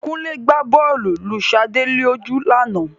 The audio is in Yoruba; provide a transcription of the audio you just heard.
Kúnlé gba bọ́ọ̀lù lu Sade lójú ní àná